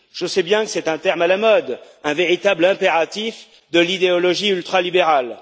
Je sais bien que c'est un terme à la mode, un véritable impératif de l'idéologie ultralibérale.